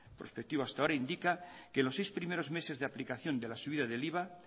prospectivo hasta ahora indica que los seis primeros meses de aplicación de la subida del iva